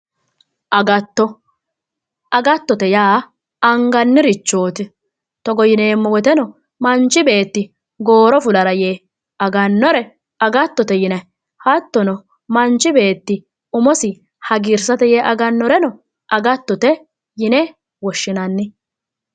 Agatto, agattote yaa anganirichoti togo yineemmo woyteno manchi beetti gooro fulara yee agano agattote yinayi, hattono manchi beetti umisi hagiirsisate yee aganoreno agattote yine woshshinanni